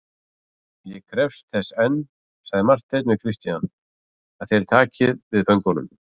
Ég krefst þess enn, sagði Marteinn við Christian,-að þér takið við föngunum.